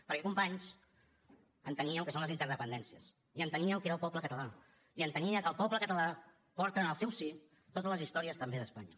perquè companys entenia el que són les interdependències i entenia què era el poble català i entenia que el poble català porta en el seu si totes les històries també d’espanya